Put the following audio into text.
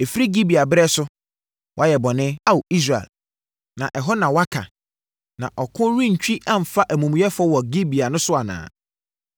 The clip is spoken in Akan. “Ɛfiri Gibea berɛ so, woayɛ bɔne, Ao, Israel, na ɛhɔ na woaka. Na ɔko rentwi amfa amumuyɛfoɔ ɛwɔ Gibea no so anaa?